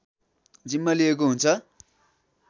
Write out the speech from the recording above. जिम्मा लिएको हुन्छ